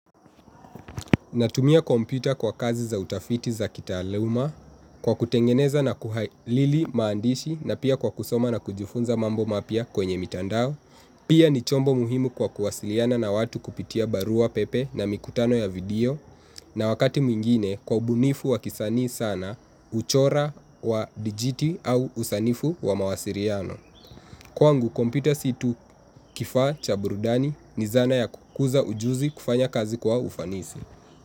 Natumia kompyuta kwa kazi za utafiti za kitaluma, kwa kutengeneza na kuhaili maandishi na pia kwa kusoma na kujifunza mambo mapia kwenye mitandao. Pia ni chombo muhimu kwa kuwasiliana na watu kupitia barua pepe na mikutano ya video na wakati mwingine kwa ubunifu wa kisani sana, uchora wa dijiti au usanifu wa mawasiriano. Kwangu, kompyuta situ kifa cha burudani ni zana ya kukuza ujuzi kufanya kazi kwa ufanisi.